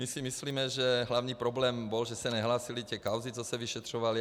My si myslíme, že hlavní problém byl, že se nehlásily ty kauzy, co se vyšetřovaly.